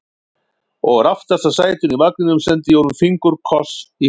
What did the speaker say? Og úr aftasta sætinu í vagninum sendi ég honum fingurkoss í huganum.